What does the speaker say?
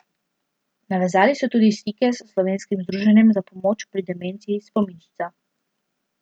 Navezali so tudi stike s slovenskim združenjem za pomoč pri demenci Spominčica.